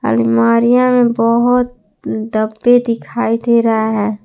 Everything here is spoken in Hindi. अलमारियां में बहोत डब्बे दिखाई दे रहा है।